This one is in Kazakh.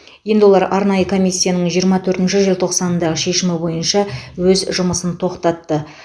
енді олар арнайы комиссияның жиырма төртінші желтоқсандағы шешімі бойынша өз жұмысын тоқтатты